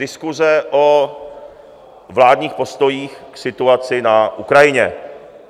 Diskuse o vládních postojích k situaci na Ukrajině.